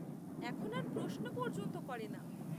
এখন আর প্রশ্ন পর্যন্ত করেনা।